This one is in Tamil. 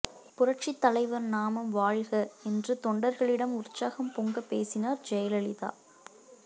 புரட்சிச் தலைவர் நாமம் வாழ்க என்று தொண்டர்களிடம் உற்சாகம் பொங்க பேசினார் ஜெயலலிதா